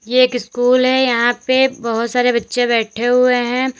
ये एक स्कूल है यहां पे बहोत सारे बच्चे बैठे हुए हैं।